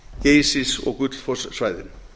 geysis og gullfoss svæðinu